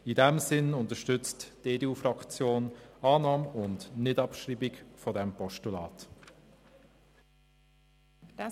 In diesem Sinne unterstützt die EDUFraktion den Antrag auf Annahme und Nichtabschreiben des Postulats.